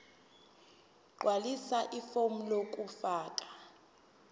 gqwalisa ifomu lokufaka